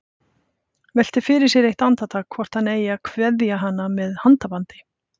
Veltir fyrir sér eitt andartak hvort hann eigi að kveðja hana með handabandi.